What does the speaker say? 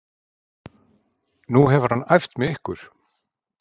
Nú hefur hann æft með ykkur?